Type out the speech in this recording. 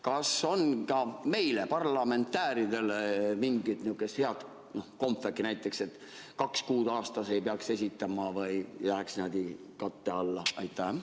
Kas on ka meile, parlamendi liikmetele, mingit head kompvekki, näiteks et kaks kuud aastas ei peaks esitama ja läheks niimoodi katte alla?